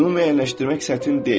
Bunu müəyyənləşdirmək çətin deyil.